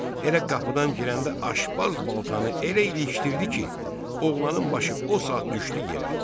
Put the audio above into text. Elə qapıdan girəndə aşbaz baltanı elə ilişdirdi ki, oğlanın başı o saat düşdü yerə.